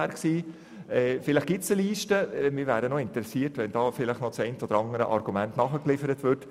Vielleicht existiert eine solche Liste, und wir wären interessiert, sollte das eine oder andere Argument nachgeliefert werden.